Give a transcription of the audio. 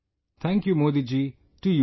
Thank you Modi ji to you too